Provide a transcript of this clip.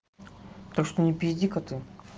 так что не пизди-ка ты